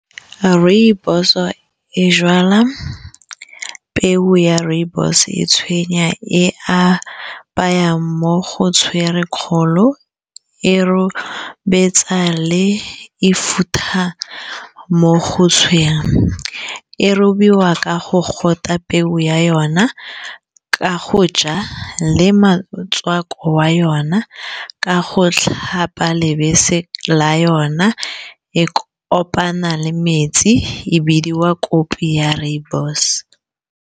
Rooibos-o e jala peo ya rooibos e tshwenya e a bayang mo go tshwere kgolo e robetsa le e futa mo go tshwenyang e robiwa ka go gote peu ya yona ka go ja le motswako wa yona ka go tlhapa lebase la yona e kopana le metsi e bidiwa kopi ya rooibos-o.